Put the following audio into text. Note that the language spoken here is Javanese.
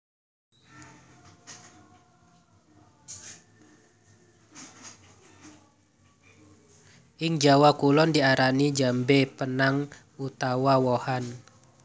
Ing Jawa Kulon diarani jambé penang utawa wohan